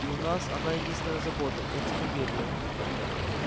и у нас одна единственная забота энциклопедия